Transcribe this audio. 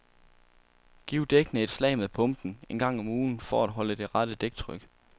Giv dækkene et par slag med pumpen en gang om ugen for at holde det rette dæktryk.